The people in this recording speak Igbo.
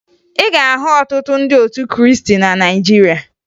Ị ga-ahụ ọtụtụ ndị otu Krịịstị na Nigeria